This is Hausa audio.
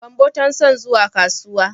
Gambo tan son zuwa kasuwa.